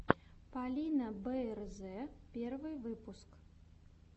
полина бээрзэ первый выпуск